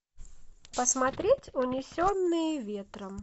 посмотреть унесенные ветром